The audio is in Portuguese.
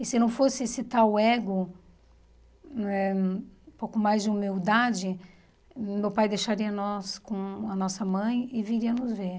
E se não fosse esse tal ego, eh um pouco mais de humildade, meu pai deixaria nós com a nossa mãe e viria nos ver.